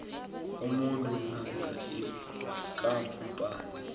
umuntu namkha ikampani